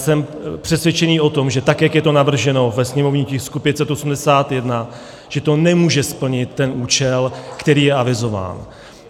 Jsem přesvědčený o tom, že tak jak je to navrženo ve sněmovním tisku 581, že to nemůže splnit ten účel, který je avizován.